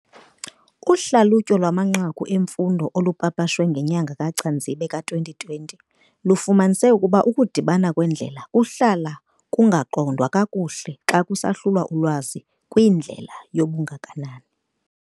Uhlalutyo lwamanqaku emfundo olupapashwe ngenyanga KaCanzibe ka-2020 lufumanise ukuba ukudibana kweendlela kuhlala kungaqondwa kakuhle xa kusahlulwa ulwazi kwindlela yobungakanani.